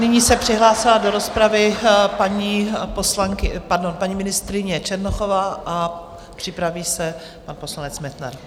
Nyní se přihlásila do rozpravy paní ministryně Černochová a připraví se pan poslanec Metnar.